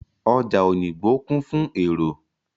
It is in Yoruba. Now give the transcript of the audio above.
Ọjà Òyìngbò ń kún fún èrò.